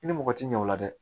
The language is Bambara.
I ni mɔgɔ ti ɲɛ o la dɛ